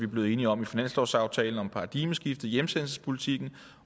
blevet enige om i finanslovsaftalen om paradigmeskiftet i hjemsendelsespolitikken